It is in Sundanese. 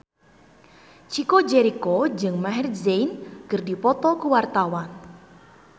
Chico Jericho jeung Maher Zein keur dipoto ku wartawan